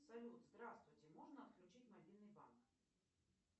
салют здравствуйте можно отключить мобильный банк